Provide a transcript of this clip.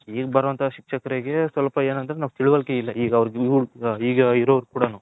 ಈಗ ಬಾರೋ ಅಂತ ಶಿಕ್ಷರ್ಕರಿಗೆ ಸ್ವಲ್ಪ ಏನಂದ್ರೆ . ಇರೋರಗ್ ಕುಡಾನು .